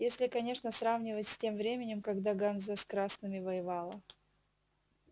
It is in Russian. если конечно сравнивать с тем временем когда ганза с красными воевала